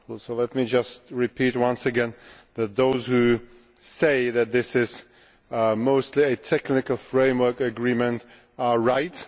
So let me just repeat once again that those who say that this is mostly a technical framework agreement are right